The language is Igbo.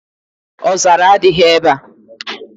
Ọzara adịghị ebe a.